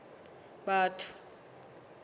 batho